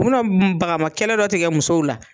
U bɛna baganmakɛlɛ dɔ tigɛ musow la